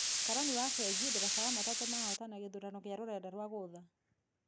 Karani wa fengi, ndereba wa matatũ mahotana gĩthurano gĩa rũrenda rwa gũtha.